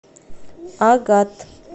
агат